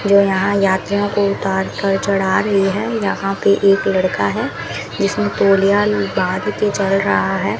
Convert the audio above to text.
जो यहां यात्रियों को उतार कर चढ़ा रहे हैं यहां पे एक लड़का है जिसमें तौलिया बांध के चढ़ रहा है।